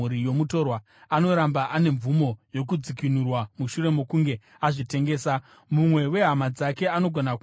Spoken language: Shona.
anoramba ane mvumo yokudzikinurwa mushure mokunge azvitengesa. Mumwe wehama dzake anogona kumudzikinura: